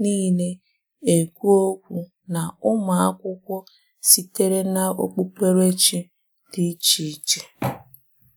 niile ekwu okwu na ụmụ akwụkwọ sitere n’okpukperechi dị iche iche.